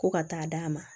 Ko ka taa d'a ma